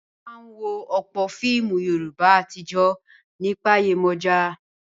A máa ń wo ọ̀pọ̀ fíìmù Yorùbá àtijọ́ nípa Yemoja.